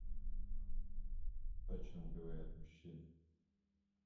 о чем говорят мужчины